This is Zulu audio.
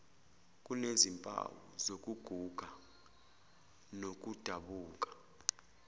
kunezimpawu zokuguga nokudabuka